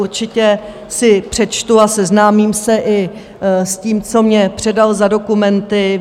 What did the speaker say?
Určitě si přečtu a seznámím se i s tím, co mně předal za dokumenty.